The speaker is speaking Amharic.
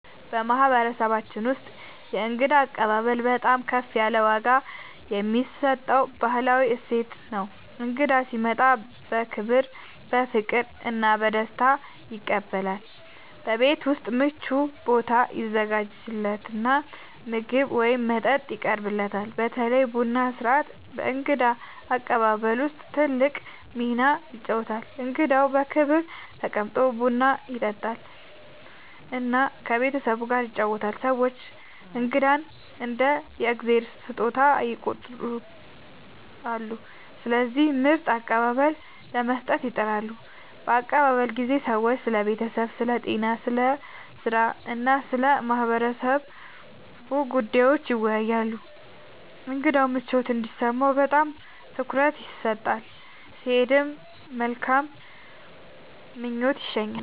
በማህበረሰባችን ውስጥ የእንግዳ አቀባበል በጣም ከፍ ያለ ዋጋ የሚሰጠው ባህላዊ እሴት ነው። እንግዳ ሲመጣ በክብር፣ በፍቅር እና በደስታ ይቀበላል፤ በቤት ውስጥ ምቹ ቦታ ይዘጋጃለት እና ምግብ ወይም መጠጥ ይቀርብለታል። በተለይ ቡና ሥርዓት በእንግዳ አቀባበል ውስጥ ትልቅ ሚና ይጫወታል፣ እንግዳው በክብር ተቀምጦ ቡና ይጠጣል እና ከቤተሰቡ ጋር ይወያያል። ሰዎች እንግዳን እንደ “የእግዚአብሔር ስጦታ” ይቆጥራሉ፣ ስለዚህ ምርጥ አቀባበል ለመስጠት ይጥራሉ። በአቀባበል ጊዜ ሰዎች ስለ ቤተሰብ፣ ስለ ጤና፣ ስለ ሥራ እና ስለ ማህበረሰቡ ጉዳዮች ይወያያሉ። እንግዳው ምቾት እንዲሰማው በጣም ትኩረት ይሰጣል፣ ሲሄድም በመልካም ምኞት ይሸኛል።